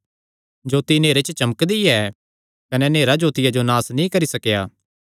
जोत्ती नेहरे च चमकदी ऐ कने नेहरा जोतिया जो नास नीं करी सकेया